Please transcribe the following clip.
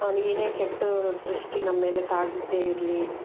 ಅವರಿಗೆ ಏನೇ ಕೆಟ್ಟ ದೃಷ್ಟಿ ನಮ್ಮೇಲೆ ತಾಗದೆ ಇರ್ಲಿ.